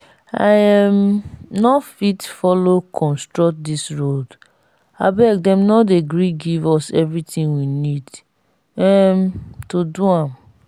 i um no fit follow construct dis road abeg dem no dey gree give us everything we need um to do am